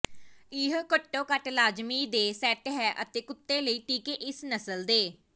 ਇਹ ਘੱਟੋ ਘੱਟ ਲਾਜ਼ਮੀ ਦੇ ਸੈੱਟ ਹੈ ਕੁੱਤੇ ਲਈ ਟੀਕੇ ਇਸ ਨਸਲ ਦੇ